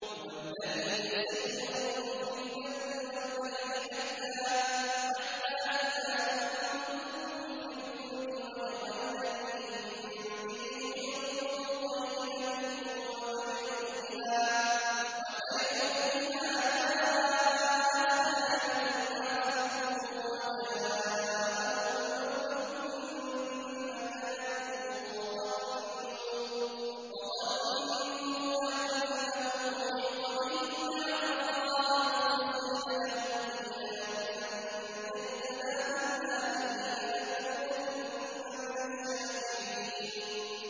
هُوَ الَّذِي يُسَيِّرُكُمْ فِي الْبَرِّ وَالْبَحْرِ ۖ حَتَّىٰ إِذَا كُنتُمْ فِي الْفُلْكِ وَجَرَيْنَ بِهِم بِرِيحٍ طَيِّبَةٍ وَفَرِحُوا بِهَا جَاءَتْهَا رِيحٌ عَاصِفٌ وَجَاءَهُمُ الْمَوْجُ مِن كُلِّ مَكَانٍ وَظَنُّوا أَنَّهُمْ أُحِيطَ بِهِمْ ۙ دَعَوُا اللَّهَ مُخْلِصِينَ لَهُ الدِّينَ لَئِنْ أَنجَيْتَنَا مِنْ هَٰذِهِ لَنَكُونَنَّ مِنَ الشَّاكِرِينَ